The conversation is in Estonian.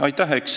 Aitäh!